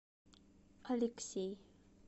алексей